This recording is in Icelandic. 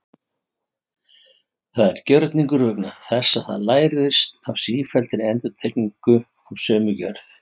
Það er gjörningur vegna þess að það lærist af sífelldri endurtekningu af sömu gjörð.